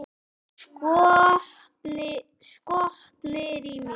Skotnir í mér?